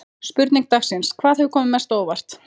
Spurning dagsins: Hvað hefur komið mest á óvart?